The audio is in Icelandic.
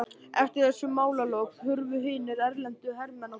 Eftir þessi málalok hurfu hinir erlendu hermenn á brott.